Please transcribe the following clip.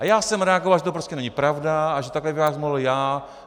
A já jsem reagoval, že to prostě není pravda a že takhle bych vás mohl já...